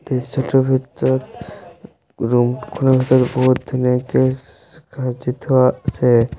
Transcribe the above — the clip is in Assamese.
দৃশ্যটোৰ ভিতৰত ৰুম খনৰ ভিতৰত বহুত ধুনীয়াকে চ সাজি থোৱা আছে।